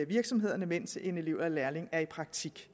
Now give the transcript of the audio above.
virksomhederne mens en elev eller lærling er i praktik